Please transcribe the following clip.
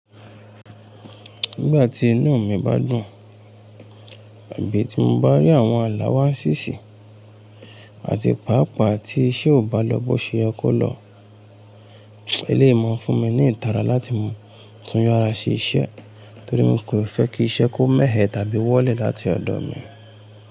Nígbà tí inú mi bá dùn, àbí tí mo bá rí àwọn àlá wá ń ṣíṣì àti pàápàá tí iṣẹ́ ò bá lọ́ bọ́ ṣe yẹ kó lọ, eléyìí máa ń fún mi ní ìtara láti mú tún yára sí iṣẹ́ torí mi kò fẹ́ kí iṣẹ́ kó mẹ̀ẹ́ tàbí wọ́lẹ̀ láti ọ̀dọ̀ mi.